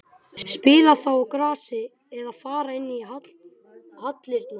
Spila þá á grasi eða fara inn í hallirnar?